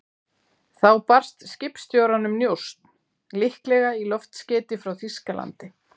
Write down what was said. Þá barst skipstjóranum njósn, líklega í loftskeyti frá Þýskalandi.